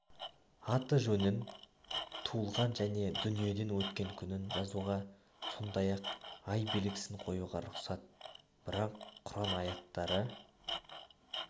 аты-жөнін туылған және дүниеден өткен күнін жазуға сондай-ақ ай белгісін қоюға рұқсат бірақ құран аяттары